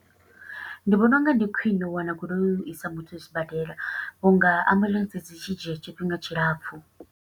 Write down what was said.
Ndi vhona unga ndi khwiṋe u wana goloi, u i sa muthu a sibadela, vhunga ambuḽentse dzi tshi dzhia tshifhinga tshilapfu.